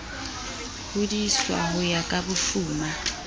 hodiswa ho ya ka bofuma